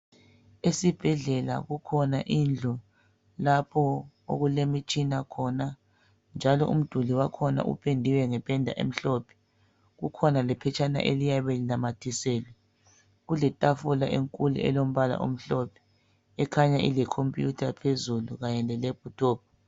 Esibhedlela kukhona indlu lapho okulemitshina khona njalo umduli wakhona upendiwe ngependa emhlophe. Kukhona lephetshana eliyabe linamathiselwe. Kuletafula enkulu elombala omhlophe ekhanya ilecomputer phezulu kanye le laptop.